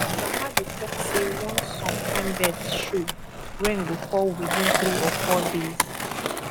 my grandma dey talk say once some kind birds show rain go fall within three or four days